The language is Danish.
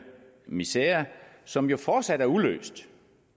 misere som jo fortsat er uløst